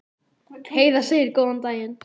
Heiða segir góðan daginn!